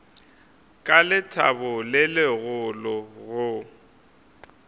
ka lethabo le legolo go